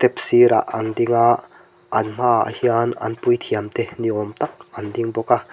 step sirah an ding a an hmaah hian an puithiam te ni awm tak an ding bawk a.